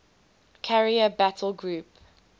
carrier battle group